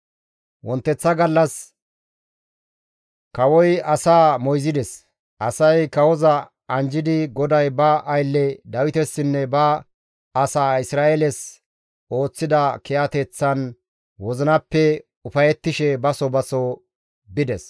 Wonteththa gallas kawoy asaa moyzides; asay kawoza anjjidi GODAY ba aylle Dawitesinne ba asaa Isra7eeles ooththida kiyateththan wozinappe ufayettishe baso baso bides.